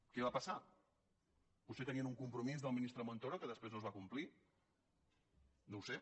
què va passar potser tenien un compromís del ministre montoro que després no es va complir no ho sé